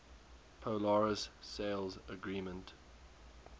polaris sales agreement